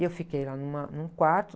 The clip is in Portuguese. E eu fiquei lá numa, num quarto.